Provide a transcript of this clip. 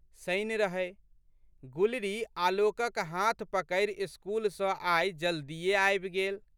शनि रहै। गुलरी आलोकक हाथ पकड़ि स्कूल सँ आइ जल्दीए आबि गेल।